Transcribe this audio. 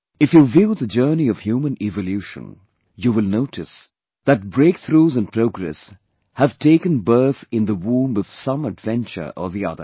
If you view the journey of human evolution, you will notice that breakthroughs in progress have taken birth in the womb of some adventure or the other